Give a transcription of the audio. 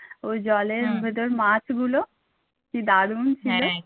ওই জলের ভেতর মাছগুলো কী দারুন ছিল